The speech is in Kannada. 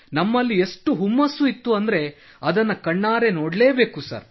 ನಮ್ಮಲ್ಲಿ ಎಷ್ಟು ಹುಮ್ಮಸ್ಸು ಇತ್ತೆಂದರೆ ಅದನ್ನು ಕಣ್ಣಾರೆ ನೊಡಲೇ ಬೇಕು ಸರ್